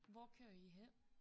Hvor kører I hen?